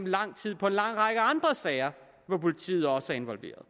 lang tid på en lang række andre sager hvor politiet også er involveret